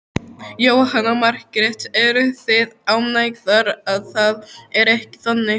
Jóhanna Margrét: Eruð þið ánægðar að það er ekki þannig?